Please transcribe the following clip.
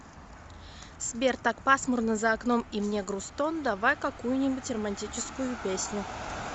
сбер так пасмурно за окном и мне грустон давай какую нибудь романтическую песню